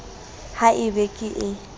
ha e be ke ee